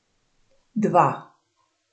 Dva.